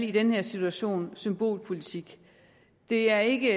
i den her situation vil symbolpolitik det er ikke